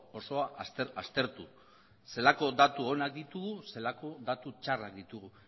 osoa aztertu zelako datu onak ditugu zelako datu txarrak ditugu